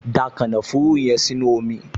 Da kànáfùrù yẹn sínú omi!